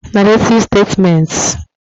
Narrative Statements